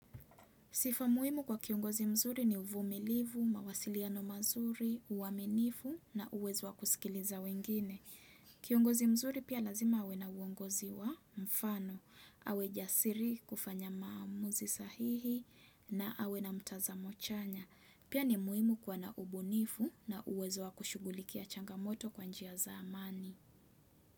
Sifa muhimu kwa kiongozi mzuri ni uvumilivu, mawasiliano mazuri, uwaminifu na uwezo wa kusikiliza wengine. Kiongozi mzuri pia lazima awe na uongozi wa mfano, awe jasiri, kufanya maamuzi sahihi na awe na mtazamo chanya. Pia ni muhimu kuwa na ubunifu na uwezo wa kushugulikia changamoto kwa njia za amani.